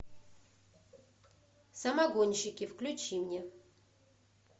самогонщики включи мне